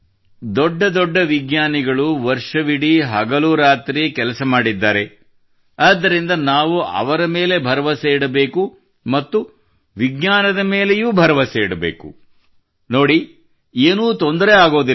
ದೊಡ್ಡ ದೊಡ್ಡ ವಿಜ್ಞಾನಿಗಳು ವರ್ಷವಿಡೀ ಹಗಲಿರುಳು ಕೆಲಸ ಮಾಡಿದ್ದಾರೆ ಆದ್ದರಿಂದ ನಾವು ಅವರ ಮೇಲೆ ಭರವಸೆ ಇಡಬೇಕು ಮತ್ತು ನೋಡಿ ಹೀಗಾಗುವುದಿಲ್ಲ